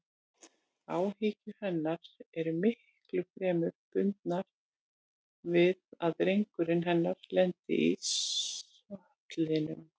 Áhyggjur hennar eru miklu fremur bundnar við að drengurinn hennar lendi í sollinum.